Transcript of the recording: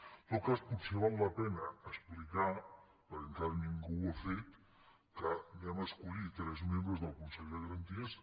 en tot cas potser val la pena explicar perquè encara ningú ho ha fet que escollirem tres membres del consell de garanties